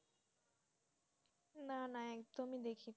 না না একদমই দেখিনি,